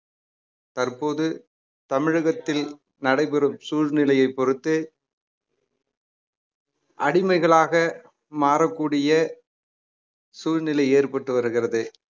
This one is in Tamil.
தற்போது தமிழகத்தில் நடைபெறும் சூழ்நிலையைப் பொறுத்தே அடிமைகளாக மாறக்கூடிய சூழ்நிலை ஏற்பட்டு வருகிறது